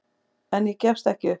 En ég gefst ekki upp.